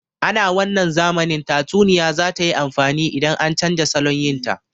Ana wannan zamanin tatsuniya za tayi amfani idan an canja salon yin ta